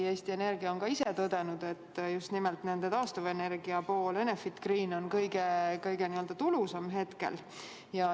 Eesti Energia on ometi ise tõdenud, et just nimelt nende taastuvenergia pool, Enefit Green on hetkel kõige tulusam.